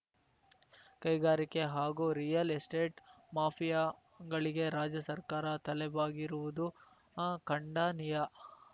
ಕೈಗಾರಿಕೆ ಹಾಗೂ real estate ಮಾಫಿಯಾಗಳಿಗೆ ರಾಜ್ಯ ಸರ್ಕಾರ ತಲೆಬಾಗಿರುವುದು ಖಂಡನೀಯ